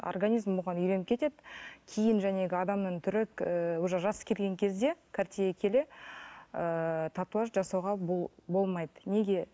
организм оған үйреніп кетеді кейін адамның түрі ііі уже жасы келген кезде қартая келе ыыы татуаж жасауға болмайды неге